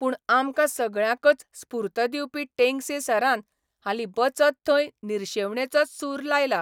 पूण आमकां सगळ्यांकच स्फूर्त दिवपी टेंगसे सरान हालीं वचत थंय निर्शेवणेचोच सूर लायला.